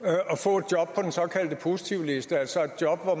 og den såkaldte positivliste altså et job på